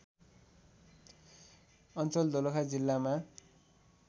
अञ्चल दोलखा जिल्लामा